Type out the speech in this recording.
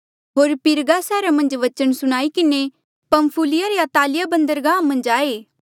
होर पिरगा सैहरा मन्झ बचन सुणाई किन्हें पंफुलिया रे अतालिया बंदरगाह मन्झ आये